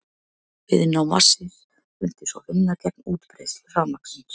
Viðnám vatnsins mundi svo vinna gegn útbreiðslu rafmagnsins.